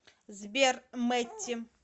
сбер мэтти